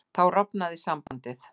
Þá rofnaði sambandið.